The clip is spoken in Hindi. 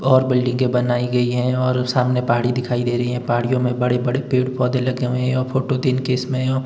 और बिल्डिंगे बनाई गई हैं और सामने पहाड़ी दिखाई दे रही है पहाड़ियों में बड़े बड़े पेड़ पौधे लगे हुए हैं और फोटो दिन के समय है।